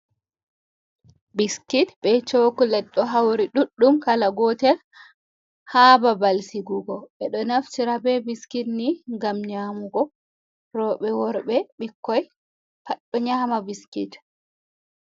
Biskit be cokulet ɗo hauri ɗuɗɗum kala gotel ha babal sigugo, be ɗo naftira be biskit ni gam nyamugo, robe, worbe, bikkoi pat ɗo nyama biskit.